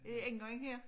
Indgangen her